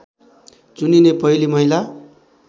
चुनिने पहिली महिला